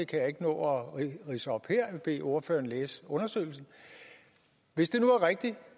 kan jeg ikke nå at ridse op her men bede ordføreren læse undersøgelsen hvis det nu er rigtigt